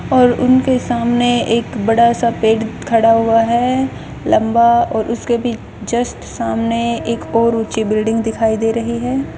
और उनके सामने एक बड़ा सा पेड खड़ा हुआ है लंबा और उसके भी जस्ट सामने एक और ऊंची बिल्डिंग दिखाई दे रही है।